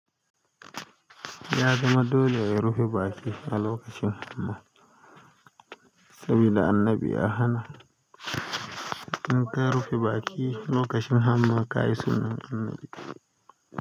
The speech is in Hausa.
Ya zama dole rufe baƙi a lokacin hamma saboda annabi ya hana. In ka rufe baƙi lokacin hamma ka yi sunar annabi.